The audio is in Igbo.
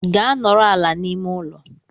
Gaa nọrọ ala n'ime ụlọ!